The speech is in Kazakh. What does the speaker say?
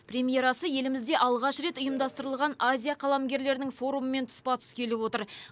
премьерасы елімізде алғаш рет ұйымдастырылған азия қаламгерлерінің форумымен тұспа тұс келіп отыр